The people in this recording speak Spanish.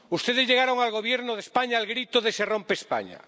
Ustedes llegaron al Gobierno de España al grito de ¡Se rompe España!,